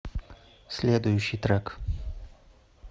следующий трек